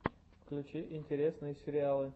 включи интересные сериалы